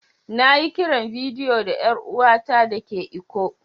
Na yi kiran bidiyo da yar uwa ta da ke lkko.